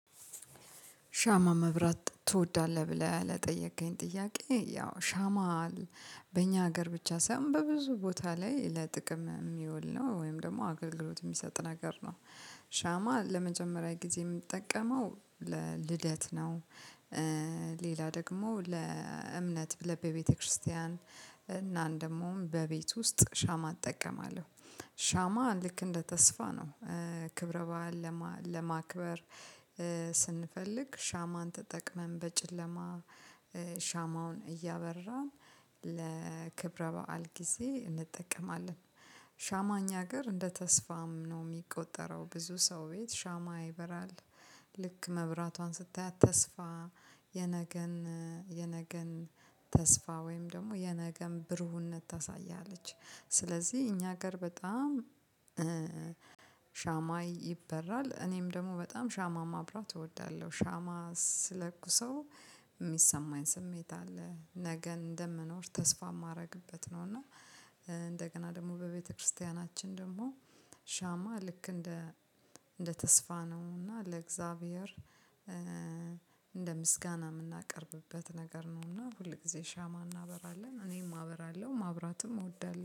ሻማ መብራት ትወዳለህ? ብለህ ለጠየቀኝ ጥያቄ ያው ሻማ በእኛ ሀገር ብቻ ሳይሆን በብዙ ቦታ ላይ ለጥቅም የሚውል ነው ወይም ደግሞ አገልግሎት የሚሰጥ ነገር ነው። ሻማ ለመጀመሪያ ጊዜ የምጠቀመው ለልደት ነው። ሌላ ደግሞ ለእምነት ብለን በቤተክርስቲያን እና እናን ደሞም በቤት ውስጥ ሻማ እጠቀማለሁ። ሻማ ልክ እንደ ተስፋ ነው። ክብረ በዓል ለማክበር ስንፈልግ ሻማን ተጠቅመን በጭለማ ሻማውን እያበራን ለክብረ በዓል ጊዜ እንጠቀማለን። ሻማ እኛ ሀገር እንደ ተስፋም ነው የሚቆጠረው ብዙ ሰው ቤት ሻማ ይበራል። ልክ መብራቷን ስታያት ተስፋ የነገን ተስፋ ወይም ደግሞ የነገን ብርሁነት ታሳያለች። ስለዚህ እኛ ሀገር በጣም ሻማ ይበራል እኔም ደግሞ በጣም ሻማ ማብራት እወዳለሁ። ሻማ ስለኩሰው የሚሰማኝ ስሜት አለ ነገን እንደምኖር ተስፋ የማደርግበት ነው። እና እንደገና ደግሞ በቤተክርስቲያናችን ደግሞ ሻማ ልክ እንደ እንደ ተስፋ ነው እና ለእግዚአብሔር እንደ ምስጋና የምናቀርብበት ነገር ነው። ሁል ጊዜ ሻማ እናበራለን እኔም አበራለሁ ማብራትም እወዳለሁ